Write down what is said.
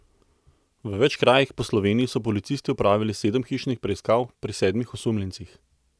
V več krajih po Sloveniji so policisti opravili sedem hišnih preiskav pri sedmih osumljencih.